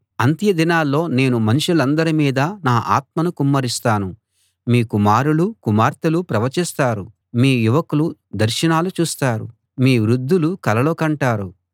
అంత్యదినాల్లో నేను మనుషులందరి మీదా నా ఆత్మను కుమ్మరిస్తాను మీ కుమారులూ కుమార్తెలూ ప్రవచిస్తారు మీ యువకులు దర్శనాలు చూస్తారు మీ వృద్ధులు కలలు కంటారు